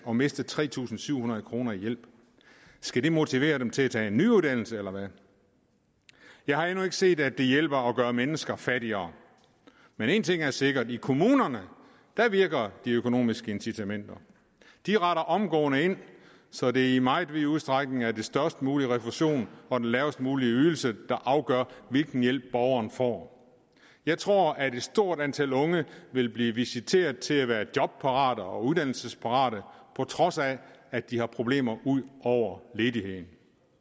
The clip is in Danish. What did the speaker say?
og miste tre tusind syv hundrede kroner i hjælp skal det motivere dem til at tage en ny uddannelse eller hvad jeg har endnu ikke set at det hjælper at gøre mennesker fattigere men en ting er sikkert i kommunerne virker de økonomiske incitamenter de retter omgående ind så det i meget vid udstrækning er den størst mulige refusion og den lavest mulige ydelse der afgør hvilken hjælp borgeren får jeg tror at et stort antal unge vil blive visiteret til at være jobparate og uddannelsesparate på trods af at de har problemer ud over ledigheden